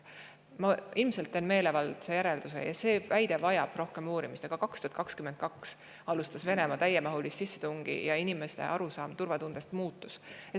Ma ilmselt teen meelevaldse järelduse, kui ütlen – see väide vajab rohkem uurimist –, et 2022 alustas Venemaa täiemahulist sissetungi ja inimeste arusaam turvatundest muutus.